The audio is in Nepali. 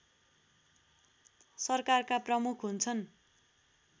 सरकारका प्रमुख हुन्छन्